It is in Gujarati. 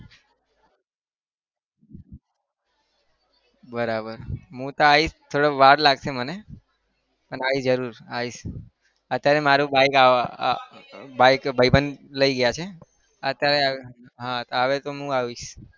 બરાબર હું તો આવીશ થોડી વાર લાગશે મને પણ આવીશ જરૂર આવીશ અત્યારે મારું bike ભાઈબંધ લઇ ગયા છે અત્યારે હા આવે તો હું આવીશ.